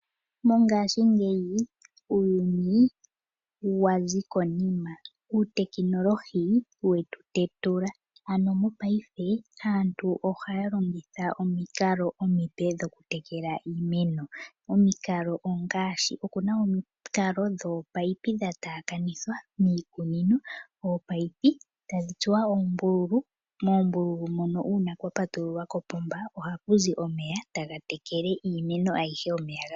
Mongashingeyi uuyuni wazi konima. Uutekinolohi we tu tetula . Ano mopaife aantu ohaya longitha omikalo omipe dhokutekela iimeno. Omikalo ongaashi , okuna omikalo dhoopaipi dha taakanithwa miikuunino . Oopaipi tadhi tsuwa oombululu. Moombululu mono uuna kwa patululwa kopomba ohakuzi omeya etaga tekele iimeno ayihe.